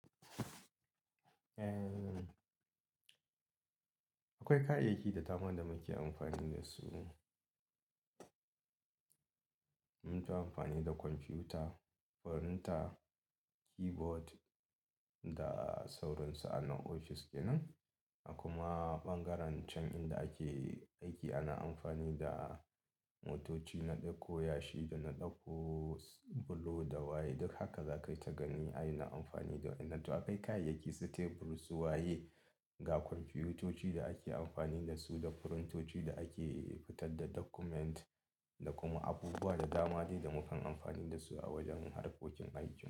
Eh, akwai kayayyaki da dama da muke amfani da su ne. Mukanyi amfani da kwamfuta, firinta, keyboard da sauransu a na ofis kenan. A kuma ɓangaren can inda ake aiki ana amfani da motoci na ɗauko yashi da na ɗauko bulo da waye. Duk haka za ka yi ta gani anyi na amfani da wadannan. Akai kayayyaki su tebur, su waye, ga kwamfutoci da ake amfani da su da firintoci da ake fitar da document da kuma abubuwa da dama dai da mukan amfani da su a wajen harkokin aikin.